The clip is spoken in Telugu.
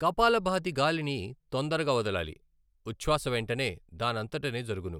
కపాలభాతి గాలిని తొందరగా వదలాలి ఉశ్చాస వెంటనే దానంతటనే జరుగును.